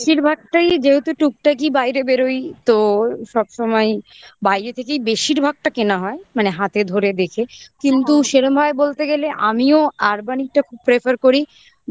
বেশিরভাগটাই যেহেতু টুকটাকই বাইরে বেরোই তো সবসময়ই বাইরে থেকেই বেশিরভাগটা কেনা হয় মানে হাতে ধরে দেখে কিন্তু কিন্তু সেরমভাবে বলতে গেলে আমিও urbanic টা খুব prefer করি